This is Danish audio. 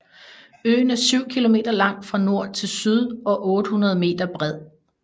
Øen er 7 km lang fra nord til syd og 800 m bred